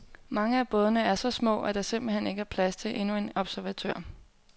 Mange af bådene er så små, at der simpelt hen ikke er plads til endnu en observatør.